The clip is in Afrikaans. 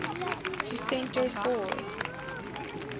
to centre for